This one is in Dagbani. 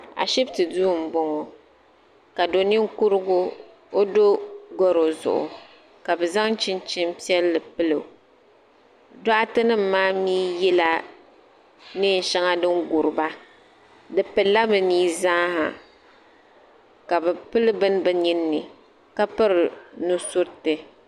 Ashibiti duu m-bɔŋɔ ka do' ninkurugu o do garɔ zuɣu ka bɛ zaŋ chinchini piɛlli pili o dɔɣite nima maa mi yela neen' shɛŋa din guri ba bɛ pili la bɛ ni zaa ha ka bɛ pili bini bɛ nini ni ka piri nu' suriti.